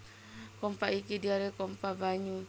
Kompa iki diarani kompa banyu